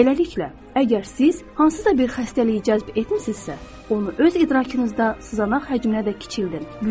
Beləliklə, əgər siz hansısa bir xəstəliyə cəlb etmisinizsə, onu öz idrakınızda sızanaq həcminə də kiçildin.